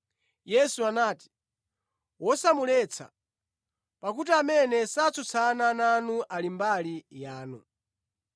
Yesu anati, “Wosamuletsa, pakuti amene satsutsana nanu ali mbali yanu.”